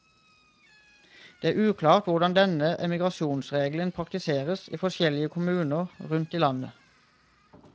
Det er uklart hvordan denne emigrasjonsregelen praktiseres i forskjellige kommuner rundt i landet.